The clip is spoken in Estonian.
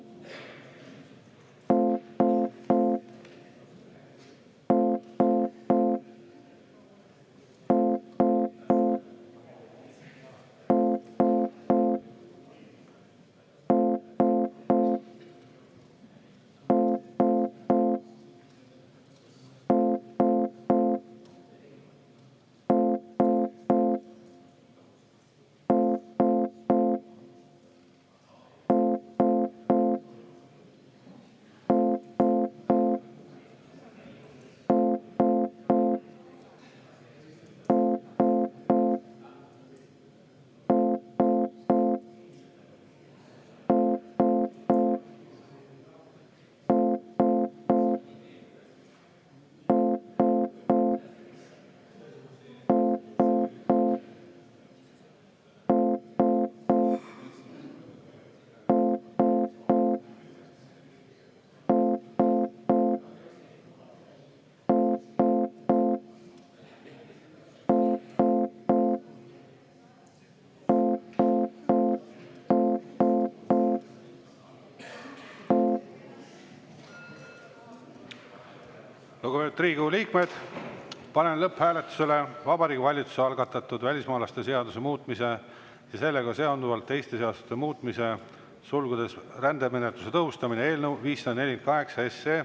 Lugupeetud Riigikogu liikmed, panen lõpphääletusele Vabariigi Valitsuse algatatud välismaalaste seaduse muutmise ja sellega seonduvalt teiste seaduste muutmise seaduse eelnõu 548.